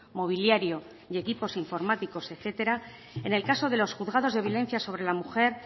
mobiliario y equipos informáticos etcétera en el caso de los juzgados de violencia sobre la mujer